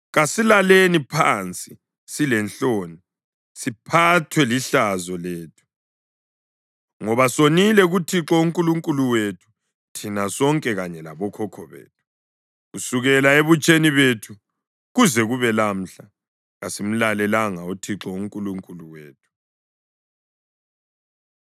Kasilaleni phansi silenhloni, siphathwe lihlazo lethu. Ngoba sonile kuThixo uNkulunkulu wethu, thina sonke kanye labokhokho bethu; kusukela ebutsheni bethu kuze kube lamhla, kasimlalelanga uThixo uNkulunkulu wethu.”